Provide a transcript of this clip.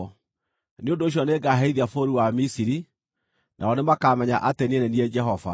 Nĩ ũndũ ũcio nĩngaherithia bũrũri wa Misiri, nao nĩmakamenya atĩ niĩ nĩ niĩ Jehova.’ ”